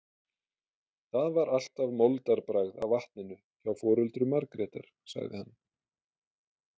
Það var alltaf moldarbragð af vatninu hjá foreldrum Margrétar, sagði hann.